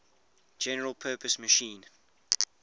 general purpose machine